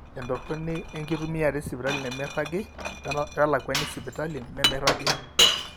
entorroni enkitumiata esipitali nemeiragi welakuani esipitali nemeiragi